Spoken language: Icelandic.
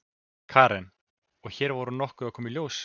Karen: Og hér voru nokkrar að koma í ljós?